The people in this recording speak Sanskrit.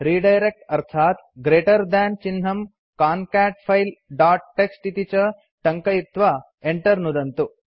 रिडायरेक्ट् अर्थात् ग्रेटर थान् चिह्नं कान्काटफाइल दोत् टीएक्सटी इति च टङ्कयित्वा enter नुदन्तु